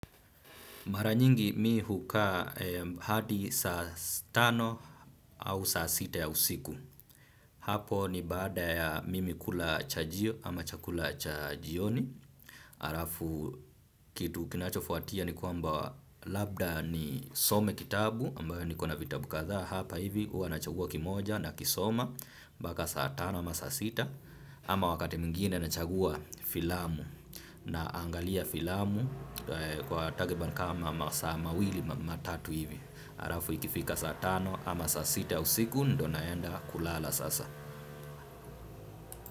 Mara nyingi mi hukaa hadi saa tano au saa sita ya usiku. Hapo ni baada ya mimi kula chajio ama chakula cha jioni. Alafu kitu kinachofuatia ni kwamba labda nisome kitabu ambayo niko na vitabu kadhaa hapa hivi huwa nachagua kimoja nakisoma mpaka saa tano ama saa sita. Ama wakati mwingine nachagua filamu. Naangalia filamu kwa takriban kama masaa mawili matatu hivi. Alafu ikifika saa tano ama saa sita ya usiku ndo naenda kulala sasa.